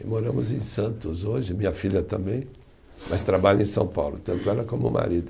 E moramos em Santos hoje, minha filha também, mas trabalha em São Paulo, tanto ela como o marido.